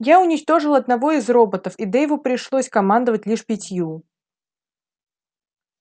я уничтожил одного из роботов и дейву пришлось командовать лишь пятью